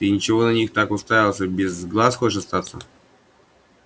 ты чего на них так уставился без глаз хочешь остаться